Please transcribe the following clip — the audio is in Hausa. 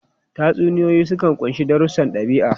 Tatsuniyoyi sukan ƙunshi darussan ɗabi'a.